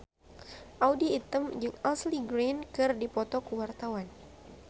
Audy Item jeung Ashley Greene keur dipoto ku wartawan